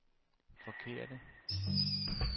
forkerte